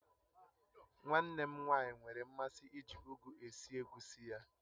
Nwa nne m nwaanyị nwere mmasị iji ugu esi egusi ya